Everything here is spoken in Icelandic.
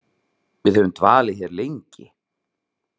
Við höfum dvalið hér lengi.